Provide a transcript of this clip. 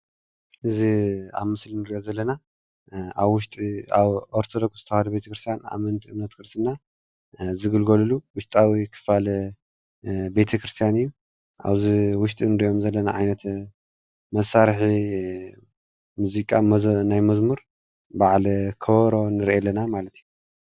እዚ ኣብ ምስሊ እንሪኦ ዘለና ኣብ ውሽጢ ኦርተዶክስ ተዋህዶ ቤተክርስትያን ኣመንቲ ክርስትና ዝግልጋልሉ ውሽጣዊ ክፋል ቤተክርስትያን እዩ፡፡ አብዚ ውሽጢ እንሪኦም ዘለና ዓይነት መሳርሒ ሙዚቃ ናይ መዝሙር በዓል ከበሮ ንርኢ ኣለና ማለት እዩ፡፡